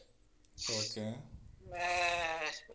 Okay .